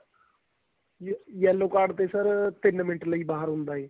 yellow card ਤੇ sir ਤਿੰਨ minute ਲਈ ਬਾਹਰ ਹੁੰਦਾ ਏ